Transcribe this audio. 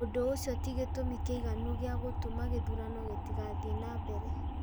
ũndũ ũcio ti gĩtũmi kĩiganu gĩa gũtũma gĩthurano gĩtigathiĩ na mbere.